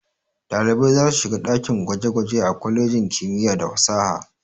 Ɗalibai za su shiga dakin gwaje-gwaje a kwalejin kimiyya da fasaha.